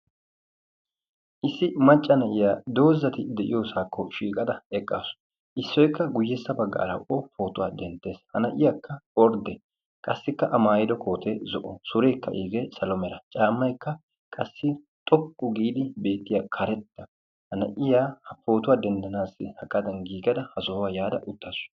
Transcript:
issi macca na'iya doozati de'iyoosakkao shiiqada eqqasu. isi guyyesa baggara o pootuwa denttees. a maayido koote zo'o, surekka iige salo mera caamaykka iige xoqqu giidi beetiyaa karetta. ha na'iyaa pootuwa denddanassi ha sohuwaa yaada hagadan giigada uttasu.